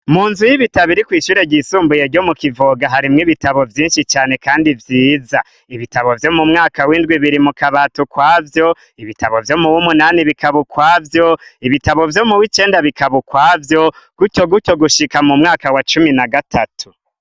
Munzu y'ibitabu iri kw'ishure ryisumbuye ryo mu kivoga harimwo ibitabu vyinshi cane kandi vyiza, ibitabo vyo mu mwaka w'indwi biri mukabati ukwavyo ,ibitabo vyo w'icenda bikaba ukwavyo, ibitabo vyo muw'icumi bikaba ukwavyo gutyo gutyo gushika mu mwaka w'icumi na gatatu.